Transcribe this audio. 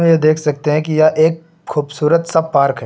यह देख सकते हैं कि यह एक खूबसूरत सा पार्क है।